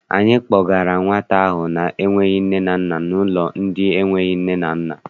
Anyị kpọgara nwata ahụ na-enweghị nne na nna n'ụlọ ndị enweghị nne na nna.